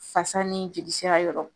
Fasa ni jolisira yɔrɔ